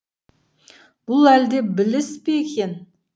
бұл әлде біліс пе екен